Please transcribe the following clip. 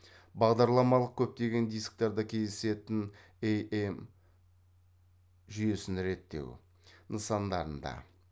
бағдарламалық көптеген дисктарда кездесетін ам жүйесін реттеу нысандарында